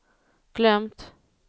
glömt